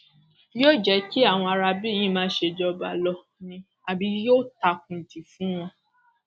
yóò jẹ kí àwọn aráabí yìí máa ṣèjọba lọ ni àbí yóò takun dì í fún wọn